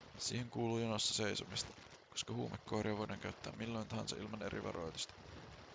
siihen kuuluu jonossa seisomista koska huumekoiria voidaan käyttää milloin tahansa ilman eri varoitusta